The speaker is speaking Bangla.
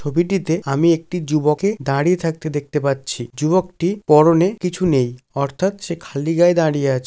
ছবিটিতে আমি একটি যুবক কে দাঁড়িয়ে থাকতে দেখতে পাচ্ছি যুবকটি পরনে কিছু নেই অর্থাৎ সে খালি গায়ে দাঁড়িয়ে আছ--